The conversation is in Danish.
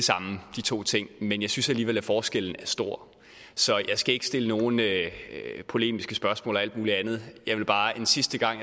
de to ting men jeg synes alligevel at forskellen er stor så jeg skal ikke stille nogen polemiske spørgsmål eller alt muligt andet jeg vil bare en sidste gang